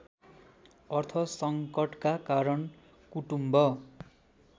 अर्थसङ्कटका कारण कुटुम्ब